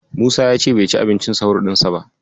Musa ya ce bai ci abincin sahur ɗinsa ba.